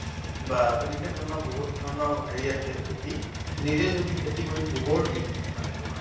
বা তেনেকে ধৰণৰ বহুত ধৰণৰ হেৰি আছে খেতি নিজে যদি খেতি কৰি গোবৰ দি মানে তোমাৰ